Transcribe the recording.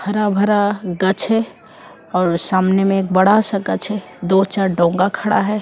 हरा भरा गच है और सामने में एक बड़ा सा गच है दो चार डोंगा खड़ा है।